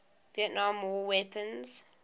vietnam war weapons